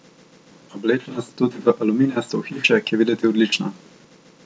Oblečena sta tudi v aluminijasto ohišje, ki je videti odlično.